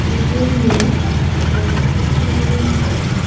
দুজন মেয়ে গল্প করছে নিজেদের মধ্যে।